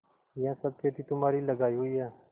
यह सब खेती तुम्हारी लगायी हुई है